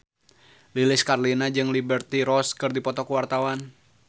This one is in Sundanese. Lilis Karlina jeung Liberty Ross keur dipoto ku wartawan